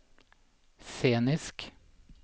scenisk